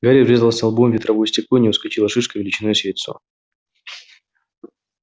гарри врезался лбом в ветровое стекло и у него вскочила шишка величиной с яйцо